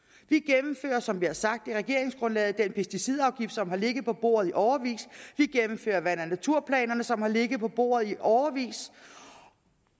og som vi har sagt i regeringsgrundlaget den pesticidafgift som har ligget på bordet i årevis vi gennemfører vand og naturplanerne som har ligget på bordet i årevis